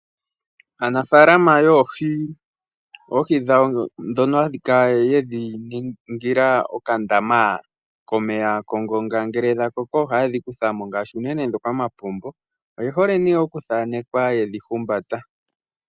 Aanafalama yoohi ,oohi dhawo dhono haya kala yedhi ningila okandama komeya kongonga ngele dha koko ohayedhi kutha mo ngaashi unene dhoka dhomampombo oyehole ihe okuthaanekwa ye dhi humbata.